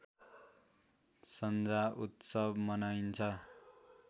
सन्जा उत्सव मनाइन्छ